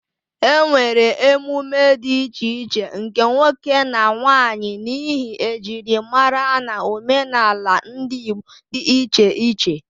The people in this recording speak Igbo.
E nwere emume dị iche iche nke nwoke na nwanyị, n'ihi ejirimara na omenala ndị Igbo di iche iche.